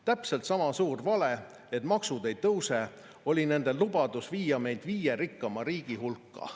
Täpselt sama suur vale, et maksud ei tõuse, oli nende lubadus viia meid viie rikkama riigi hulka.